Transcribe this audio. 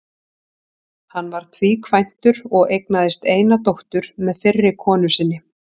Hann var tvíkvæntur og eignaðist eina dóttur með fyrri konu sinni.